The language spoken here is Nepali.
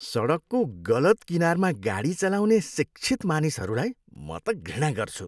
सडकको गलत किनारमा गाडी चलाउने शिक्षित मानिसहरूलाई त म घृणा गर्छु।